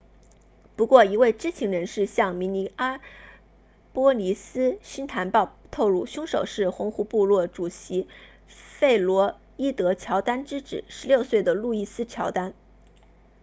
不过一位知情人士向明尼阿波利斯星坛报透露凶手是红湖部落 red lake tribal 主席弗洛伊德乔丹 floyd jourdain 之子16岁的路易斯乔丹 louis jourdain